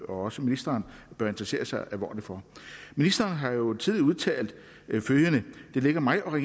også ministeren bør interessere sig alvorligt for ministeren har jo tidligere udtalt følgende det ligger mig og